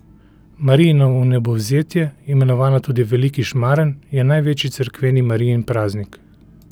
Marijino vnebovzetje, imenovano tudi veliki šmaren, je največji cerkveni Marijin praznik.